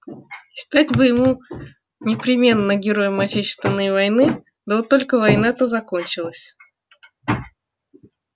и стать бы ему непременно героем отечественной войны да вот только война-то кончилась